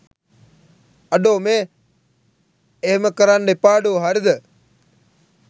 අඩෝ මේ එහෙම කරන්න එපාඩෝ හරිද?